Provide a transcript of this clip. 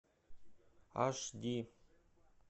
аш ди